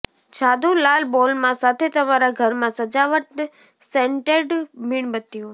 જાદુ લાલ બોલમાં સાથે તમારા ઘરમાં સજાવટ સેન્ટેડ મીણબત્તીઓ